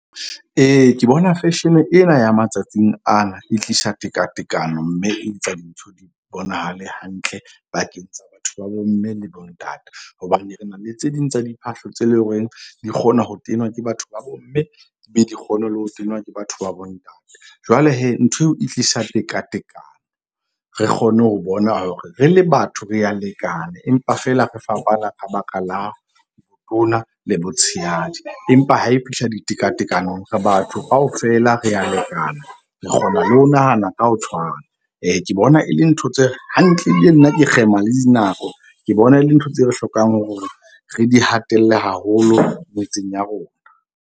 Ee, ke bona fashion-e ena ya matsatsing ana e tlisa tekatekano. Mme e etsa dintho di bonahale hantle pakeng tsa batho ba bomme le bontate. Hobane re na le tse ding tsa diphahlo tse leng hore di kgona ho tenwa ke batho ba bomme. Ebe di kgone le ho tenwa ke batho ba bo ntate. Jwale nthweo e tlisa tekatekano. Re kgone ho bona hore re le batho re a lekana, empa fela re fapana ka baka la botona le botshehadi. Empa ha e fihla ditekatekanong re batho kaofela re a lekana. Re kgona le ho nahana ka ho tshwana. Ee, ke bona e le ntho tse hantle. Ebile nna ke kgema le dinako, ke bona e le ntho tseo re hlokang hore re di hatelle haholo metseng ya rona.